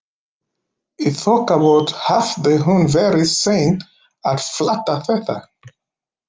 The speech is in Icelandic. Í þokkabót hafði hún verið sein að fatta þetta.